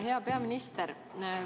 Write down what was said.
Hea peaminister!